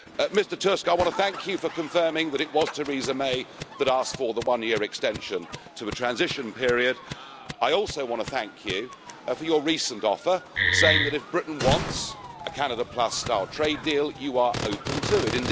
Mr Tusk, I want to thank you for confirming that it was Theresa May who asked for the one-year extension to the transition period. I also want to thank you for your recent offer, saying that if Britain wants a Canada Plus-style trade deal, you are open to it.